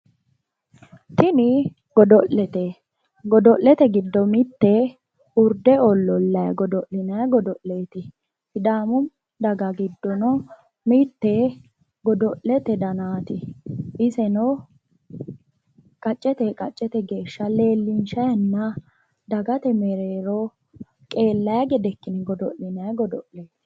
Tini godo'lete. Godo'lete giddo mitte urde ollollayi godo'linayi godo'leeti. Sidaamu daga giddo mitte godo'lete danaati. Iseno qaccete qaccete geeshsha leellinshayinna dagate mereero qeellayi gede ikkine godo'linanni godo'leeti.